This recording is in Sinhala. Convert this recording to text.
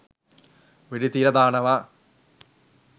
වෙඩි තියල දානව